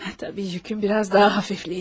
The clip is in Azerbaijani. Təbii yükün biraz daha hafifleyecek.